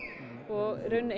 og í rauninni